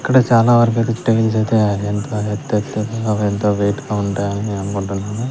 ఇక్కడ చాలా వరకు అయితే టైల్స్ అయితే ఎంత ఎత్తు అవెంతో వెయిట్ గా ఉంటాయని అనుకుంటున్నాను.